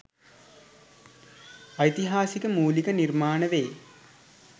ඓතිහාසික මූලික නිර්මාණ වේ.